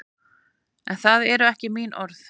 En það eru ekki mín orð.